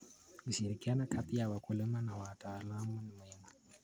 Ushirikiano kati ya wakulima na wataalamu ni muhimu.